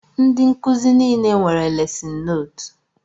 Ndị nkụzi nile nwere lesin nootu